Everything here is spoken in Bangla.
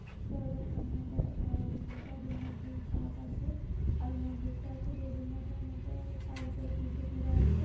দরজার সামনে আবার আ উম টব এর মধ্যে গাছ আছে। আর মন্দিরটা একটু বেলুড় মঠের মত-অ তার উপরে তিনটে চূড়া আছে।